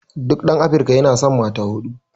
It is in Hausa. duk ɗan Afrika yana san mata huɗu